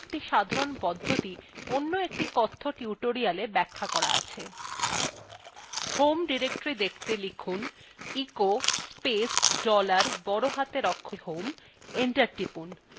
home directory দেখতে লিখুন